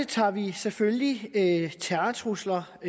tager vi selvfølgelig terrortrusler og